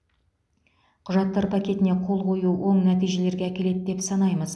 құжаттар пакетіне қол қою оң нәтижелерге әкеледі деп санаймыз